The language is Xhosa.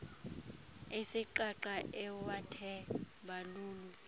isiqaqa ewathe balulu